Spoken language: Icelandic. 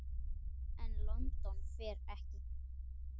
En London fer ekki.